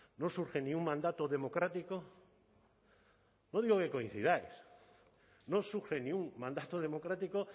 no surge ni un mandato democrático no digo que coincidáis no surge ni un mandato democrático